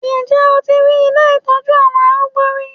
Ǹjẹ́ o ti rí ilé ìtọ́jú àwọn arúgbó rí?